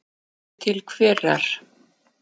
Hugsi til hverrar?